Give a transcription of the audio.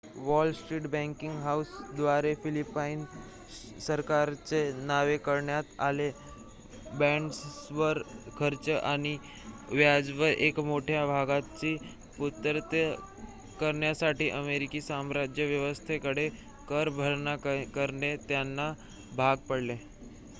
wall street banking हाऊसेसद्वारे Philippine सरकारच्या नावे काढण्यात आलेल्या बाँड्सवर खर्च आणि व्याजाच्या एका मोठ्या भागाची पूर्तता करण्यासाठी अमेरिकी साम्राज्य व्यवस्थेकडे कर भरणा करणे त्यांना भाग पडले